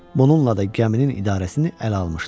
Bununla da gəminin idarəsini ələ almışdı.